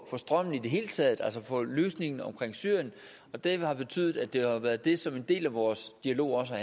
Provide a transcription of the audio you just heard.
strømmen i det hele taget altså få en løsning omkring syrien det har betydet at det har været det som en del af vores dialog også